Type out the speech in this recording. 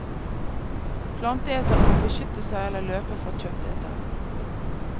Planteetere må beskytte seg eller løpe fra kjøttetere.